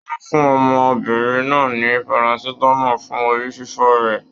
Wọn fún ọmọbìnrin náà ní Parasitamọ fún orí fífọ rẹ.